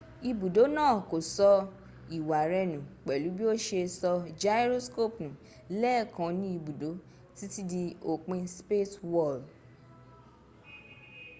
ibùdó náà kò sọ ìwà rẹ nù pẹ̀lú bí o ṣe sọ gyroscope nù lẹ́ẹ̀kan ní ibùdó títí di òpin spacewal